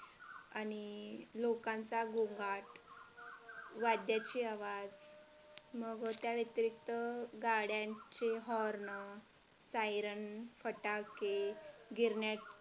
आणि लोकांचा घोंगड वाद्याचे आवाज मग त्या व्यतिरिक्त गाड्यांचे horn siren फटाके, गिरण्या